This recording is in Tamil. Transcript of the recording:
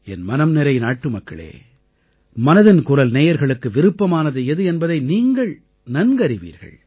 என் மனம்நிறை நாட்டுமக்களே மனதின் குரல் நேயர்களுக்கு விருப்பமானது எது என்பதை நீங்கள் நன்கறிவீர்கள்